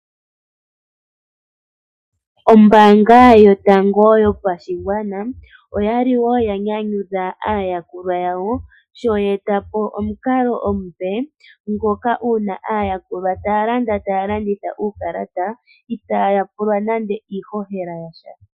Ombaanga yotango yopashigwana oya li wo ya nyanyudha aayakulwa yawo, sho ye eta po omukalo omupe ngoka uuna aayakulwa taya landa taya landitha uukalata, itaa ya pulwa nande iihohela yasha.